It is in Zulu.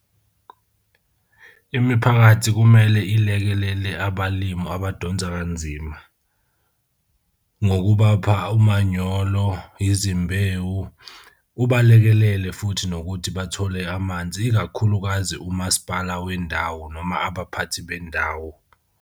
Imiphakathi kumele ilekelele abalimu abadonsa kanzima ngokubapha umanyolo izimbewu. Ubalekelele futhi nokuthi bathole amanzi, ikakhulukazi umasipala wendawo noma abaphathi bendawo.